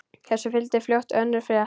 Þessu fylgdi fljótt önnur frétt: